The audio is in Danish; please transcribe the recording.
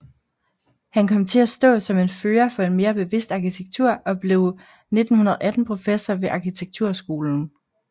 Han kom til at stå som en fører for en mere bevidst arkitektur og blev 1918 professor ved arkitekturskolen